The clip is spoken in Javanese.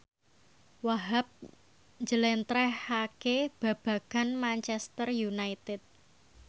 Wahhab njlentrehake babagan Manchester united